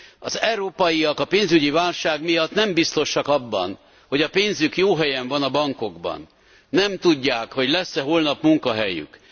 Az európaiak a pénzügyi válság miatt nem biztosak abban, hogy a pénzük jó helyen van a bankokban, nem tudják, hogy lesz e holnap munkahelyük.